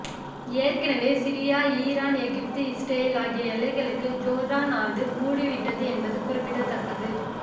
ஏற்கனவே Syria Iran Egypt Israel ஆகிய எல்லைகளைக் ஜோர்டான் நாடு மூடிவிட்டது என்பது குறிப்பிடத்தக்கது